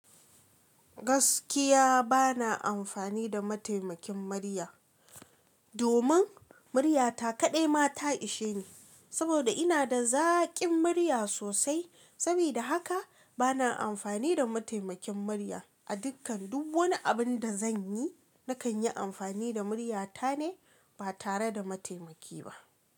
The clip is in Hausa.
Gaskiya ba na amfani da mataimakin murya. Domin muryata kaɗai mata ishe ni, saboda ina da zaƙin murya sosai. Sabida haka bana amfani da mataimakin murya. A dukkan duk wani abun da zan yi, nakan yi amfani da muryata ne ba tare da mataimaki ba.